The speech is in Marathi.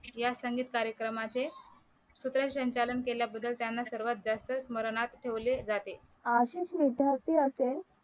या संगीत कार्यक्रमाचे सूत्रसंचालन केल्या बद्दल त्यांना सर्वात जास्त स्मरणात ठेवले जाते आर्थिक विद्यार्थी असेल